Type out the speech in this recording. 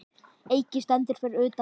Eiki stendur fyrir utan Ríkið.